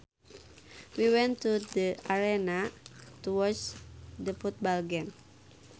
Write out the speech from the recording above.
We went to the arena to watch the football game